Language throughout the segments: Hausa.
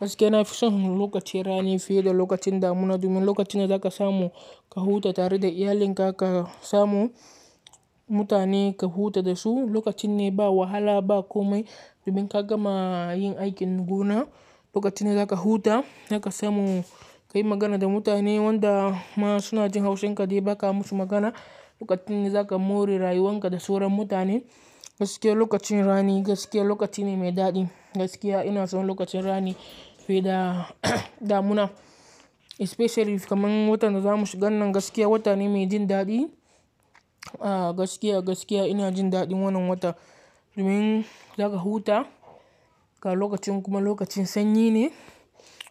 Gaskiya na fi son lokacin rani fiye da lokacin damuna. Domin lokacin ne za ka samu ka huta tare da iyalinka, ka samu mutane ka huta da su, lokacin ne ba wahala ba komai. Domin ka gama yin aikin gona, lokacin ne za ka huta, za ka samu ka yi magana da mutane wanda suna jin haushinka dai ba ka musu magana. Lokacin ne za ka more rayuwanka da soron mutane. Gaskiya lokacin rani gaskiya lokaci ne mai daɗi. Gaskiya ina son lokacin rani fiye da damuna. Especially kamar watan da zamu shiga nan gaskiya wata ne mai jin daɗi. Aaa gaskiya, gaskiya ina jin daɗin wannan watan. Domin za ka huta ga lokacin kuma lokacin sanyi ne.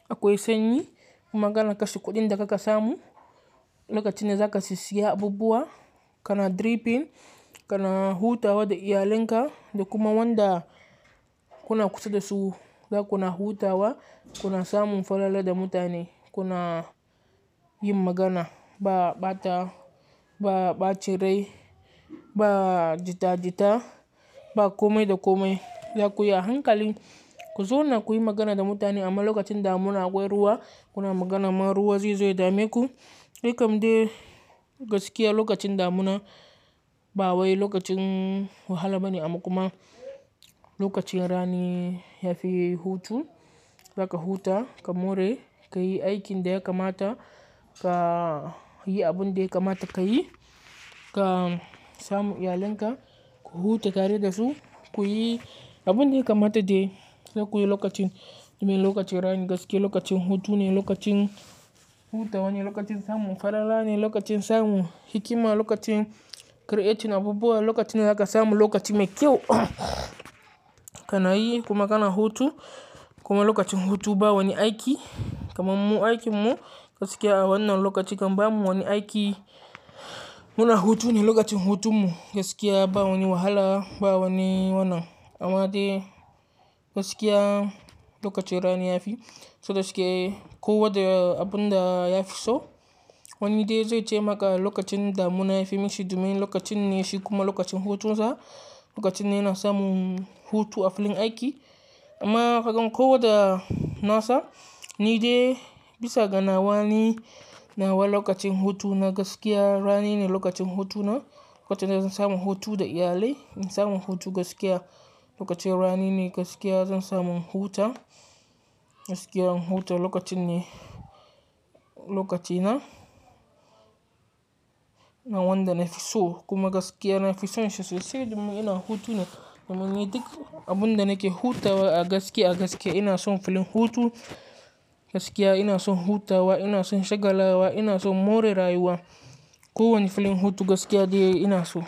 Akwai sanyi kuma kana kashe kuɗin da kuka samu. Lokacin ne za ka sisiya abubuwa kana dripping, kana hutawa da iyalinka da kuma wanda kuna kusa da su. Za kuna hutawa, kuna samun farala da mutane, kuna yin magana ba, ba ta, ba ba cirrai, ba jita-jita, ba komi da komai. Zakuyi a hankali ku zauna kuyi magana da mutane amma lokacin damuna akwai ruwa. Kuna magana man ruwa zai zo ya dame ku. Dai kam dai gaskiya lokacin damuna ba wai lokacin wahala bane amma kuma lokacin rani yafi hutu. Za ka huta, ka more, ka yi aikin da ya kamata, ka yi abun da ya kamata ka yi, ka samu iyalinka ku huta tare da su. Kuyi abun da ya kamata de dakuyi lokacin. Domin lokacin rani gaskiya lokacin hutu ne, lokacin hutawa ne, lokacin samun farala ne, lokacin samun hikima, lokacin creating abubuwa, lokacin ne za ka samu lokaci mai kyau. Kana yi kuma kana hutu kuma lokacin hutu ba wani aiki. Kamar mu aiki mu gaskiya awannan lokaci kamar mu wani aiki muna hutu ne. Lokacin hutun mu gaskiya ba wani wahala ba wani wannan. Amma dai gaskiya lokacin rani yafi. So gaskiya ko wadda abun da ya fi so wani dai zai ce maka lokacin damuna yafi mishi. Domin lokacin ne shi kuma lokacin hutunsa. Lokacin ne yana samun hutu a filin aiki. Amma kakan ko wadda nasa ni dai bisa ga nawa ni nawa lokacin hutu na gaskiya rani ne lokacin hutuna. Lokacin da zan samu hutu da iyalai, in samu hutu gaskiya lokacin rani ne gaskiya zan samu huta. Gaskiya hutu lokacin ne, lokaci na, na wanda na fi so kuma gaskiya na fi son shi sosai. Domin ina hutu ne domin ni duk abun da nake hutawa a gaskiya, gaskiya ina son filin hutu. Gaskiya ina son hutawa, ina son shagala wa, ina son more rayuwa. Ko wani filin hutu gaskiya dai ina so.